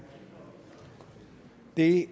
det